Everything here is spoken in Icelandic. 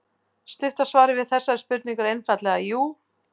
Stutta svarið við þessari spurningu er einfaldlega jú.